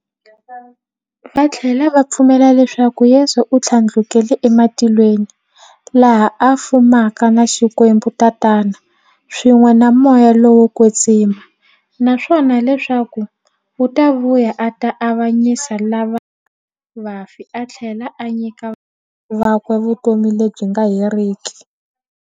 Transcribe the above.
Vathlela va pfumela leswaku Yesu u thlandlukele e matilweni, laha a fumaka na Xikwembu-Tatana, swin'we na Moya lowo kwetsima, naswona leswaku u ta vuya a ta avanyisa lava hanyaka na vafi athlela a nyika valandzeri vakwe vutomi lebyi nga heriki.